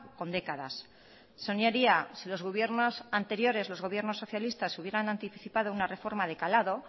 con décadas señorías si los gobiernos anteriores los gobiernos socialistas hubieran anticipado una reforma de calado